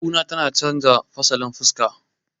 kuna tana canja fasalin fuska